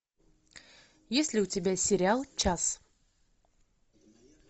есть ли у тебя сериал час